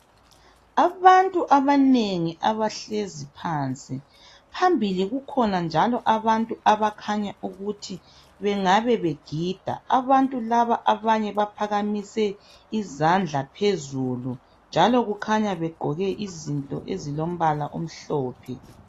Abantu abanengi abahlezi phansi phambili kukhona njalo abantu abakhanya ukuthi bengabe begida abantu laba abanye baphakamisile izandla phezulu njalo kukhanya begqoke izinto ezilombala omhlophe